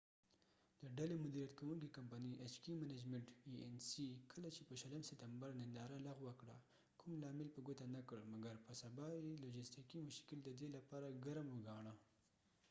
د ډلې مديریت کوونکې کمپنی ایچ کې منجمنت ای این سی کله چې په 20 سپتمبر ننداره لغوه کړه کو م لامل په ګوته نه کړ مګر په سبا یې لوژستیکې مشکل ددې لپاره ګرم و ګاڼه